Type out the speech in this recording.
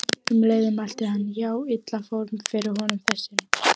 Um leið mælti hann: Já, illa fór fyrir honum þessum